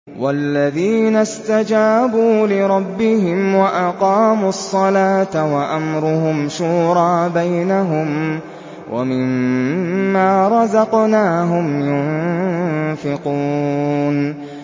وَالَّذِينَ اسْتَجَابُوا لِرَبِّهِمْ وَأَقَامُوا الصَّلَاةَ وَأَمْرُهُمْ شُورَىٰ بَيْنَهُمْ وَمِمَّا رَزَقْنَاهُمْ يُنفِقُونَ